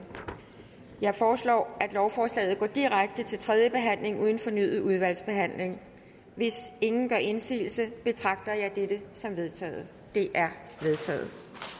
jeg foreslår at lovforslaget går direkte til tredje behandling uden fornyet udvalgsbehandling hvis ingen gør indsigelse betragter jeg dette som vedtaget det er vedtaget